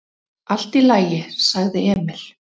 """Allt í lagi, sagði Emil."""